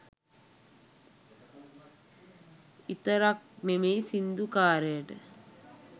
ඉතරක් නෙමෙයි සින්දු කාරයට